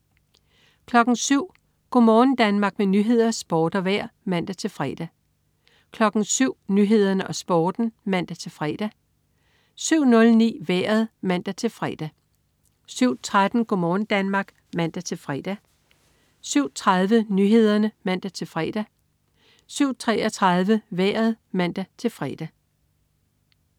07.00 Go' morgen Danmark med nyheder, sport og vejr (man-fre) 07.00 Nyhederne og Sporten (man-fre) 07.09 Vejret (man-fre) 07.13 Go' morgen Danmark (man-fre) 07.30 Nyhederne (man-fre) 07.33 Vejret (man-fre)